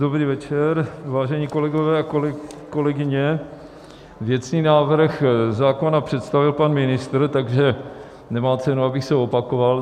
Dobrý večer, vážení kolegové a kolegyně, věcný návrh zákona přestavil pan ministr, takže nemá cenu, abych se opakoval.